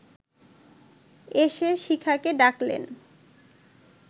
এসে শিখাকে ডাকলেন